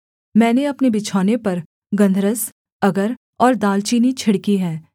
मैंने अपने बिछौने पर गन्धरस अगर और दालचीनी छिड़की है